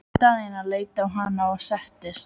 Daðína leit á hana og settist.